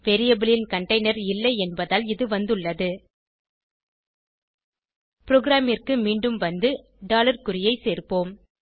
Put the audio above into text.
variable ன் container இல்லை என்பதால் இது வந்துள்ளது ப்ரோகிராமிற்கு மீண்டும் வந்து குறியை சேர்ப்போம்